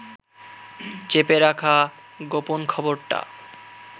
চেপে রাখা গোপন খবরটা